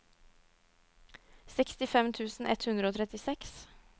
sekstifem tusen ett hundre og trettiseks